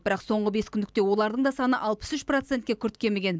бірақ соңғы бескүндікте олардың да саны алпыс үш процентке күрт кеміген